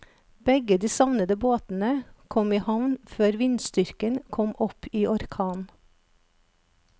Begge de savnede båtene kom i havn før vindstyrken kom opp i orkan.